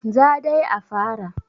Za dai a fara.